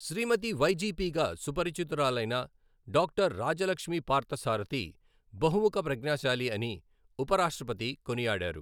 శ్రీమతి వైజీపీగా సుపరిచితురాలైన డాక్టర్ రాజలక్ష్మి పార్థసారథి బహుముఖ ప్రజ్ఞశాలి అని ఉపరాష్ట్రపతి కొనియాడారు.